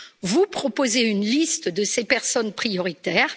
Vous proposez une liste de ces personnes prioritaires.